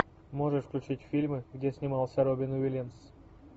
можешь включить фильмы где снимался робин уильямс